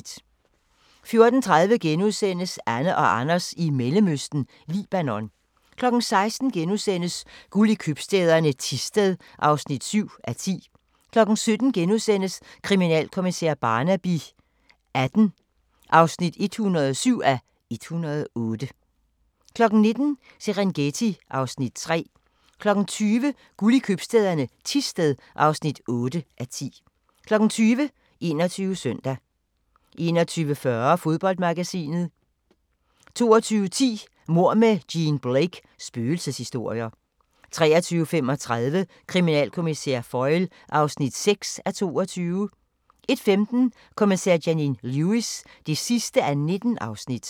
14:30: Anne og Anders i Mellemøsten – Libanon * 16:00: Guld i købstæderne - Thisted (7:10)* 17:00: Kriminalkommissær Barnaby XVIII (107:108)* 19:00: Serengeti (Afs. 3) 20:00: Guld i købstæderne - Thisted (8:10) 21:00: 21 Søndag 21:40: Fodboldmagasinet 22:10: Mord med Jean Blake: Spøgelseshistorier 23:35: Kriminalkommissær Foyle (6:22) 01:15: Kommissær Janine Lewis (19:19)